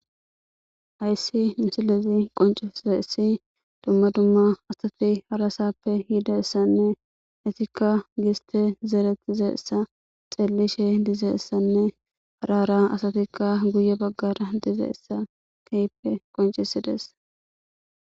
Hayssi misilezi qonceza issi dumma dumma asati harasappe yida essanne etikka giste zerettizessa xellishe dizeessanne harara asatikka guye baggara dizeessa keyppe qoncisides